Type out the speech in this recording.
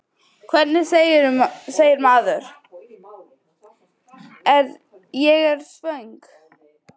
Hvernig segir maður: Ég er svöng?